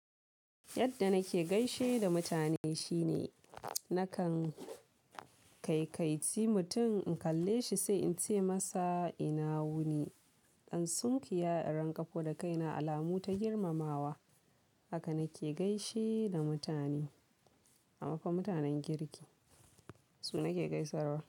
Yadda nake gaishe da mutane shine nakan kai-kaici mutum in kalle shi sai in ce masa ina wuni. In sunkuyawa in ranƙafo da kaina, alamu ta girmamawa. Haka nake gaishe da mutane, a mafa mutanen girki. Su nake gaisarwa.